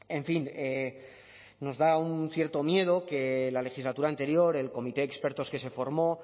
en fin nos da un cierto miedo que la legislatura anterior el comité de expertos que se formó